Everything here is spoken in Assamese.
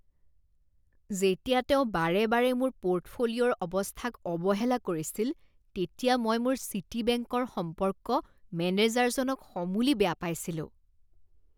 যেতিয়া তেওঁ বাৰে বাৰে মোৰ পৰ্টফোলিঅ'ৰ অৱস্থাক অৱহেলা কৰিছিল তেতিয়া মই মোৰ চিটিবেংকৰ সম্পৰ্ক মেনেজাৰজনক সমূলি বেয়া পাইছিলোঁ।